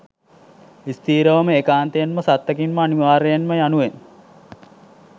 ස්ථීරවම ඒකාන්තයෙන්ම සත්තකින්ම අනිවාර්යයෙන්ම යනුවෙන්